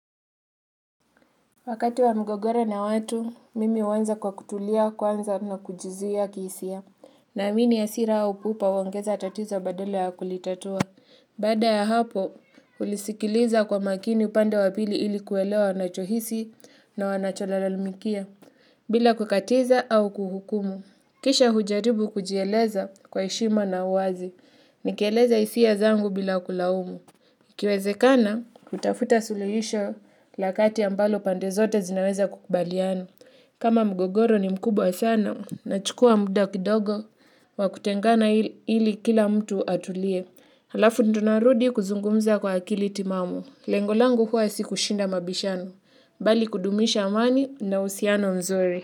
Wakati wa mgogoro na watu, mimi huanza kwa kutulia, kwanza na kujizuia kihisia. Naamini hasira au kupa huongeza tatizo badala ya kulitatua. Baada ya hapo, hulisikiliza kwa makini upande wa pili ili kuelewa anachohisi na wanacholalamikia. Bila kukatiza au kuhukumu. Kisha hujaribu kujieleza kwa heshima na uwazi. Nikieleza hisia zangu bila kulaumu. Ikiwezekana, hutafuta suluhisho la kati ambalo pande zote zinaweza kukubaliana. Kama mgogoro ni mkubwa sana nachukua muda kidogo wa kutengana ili kila mtu atulie. Halafu ndio narudi kuzungumza kwa akili timamu. Lengo langu huwa si kushinda mabishano. Bali kudumisha amani na uhusiano mzuri.